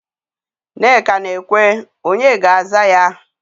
Nneka na-ekwe, onye ga-aza ya?